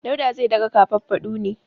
Dauda zai daga kafafadu ne.